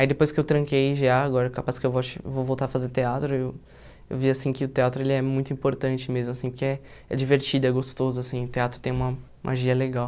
Aí depois que eu tranquei gê á, agora é capaz que eu volte vou voltar a fazer teatro, eu vi, assim, que o teatro é muito importante mesmo, assim, porque é é divertido, e é gostoso, assim, o teatro tem uma magia legal.